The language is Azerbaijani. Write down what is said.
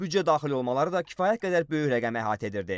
Büdcə daxil olmaları da kifayət qədər böyük rəqəmi əhatə edirdi.